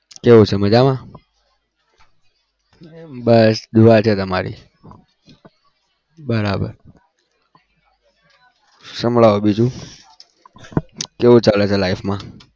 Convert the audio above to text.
કેવું છે મજામાં? બસ दुआ છે તમારી બરાબર. સંભળાવો બીજું કેવું ચાલે છે life માં?